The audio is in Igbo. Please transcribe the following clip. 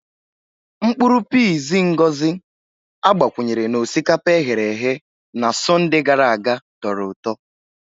Mkpuru piizi Ngozi agbakwunyere na osikapa e ghere eghe na Sọnde gara aga tọrọ ụtọ.